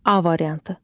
A variantı.